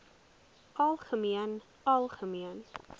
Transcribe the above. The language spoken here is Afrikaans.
algemeen algemeen